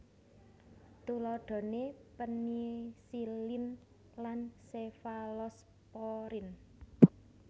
Tuladhane penisilin lan sefalosporin